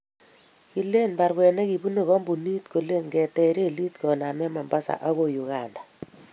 kileni baruet ne kibunu kampunit kole ketech relit koname Mombasa akoi Uganda.